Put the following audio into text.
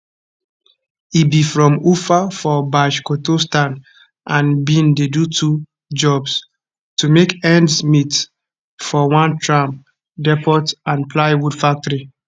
e be from ufa for bashkortostan and bin dey do two jobs to make ends meet for one tram depot and plywood factory